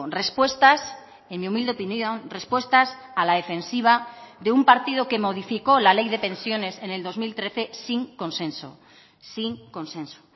respuestas en mi humilde opinión respuestas a la defensiva de un partido que modificó la ley de pensiones en el dos mil trece sin consenso sin consenso